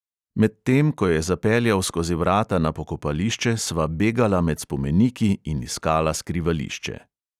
Medtem ko je zapeljal skozi vrata na pokopališče, sva begala med spomeniki in iskala skrivališče.